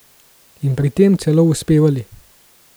In pri tem celo uspevali.